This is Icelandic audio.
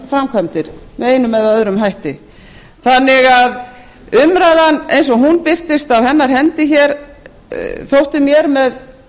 framkvæmdir með einum eða öðrum hætti þannig að umræðan eins og hún birtist af hennar hendi hér þótti mér með